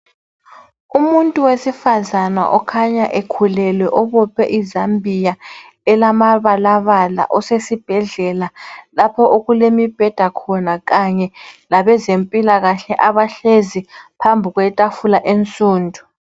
Umuntu wesifazana okhanya ekhulelwe ubophe izambiya elamabalabala usesibhedlela, lapho okulemibheda khona kanye labezempilakahle abahlezi phambi kwetafula ensundu.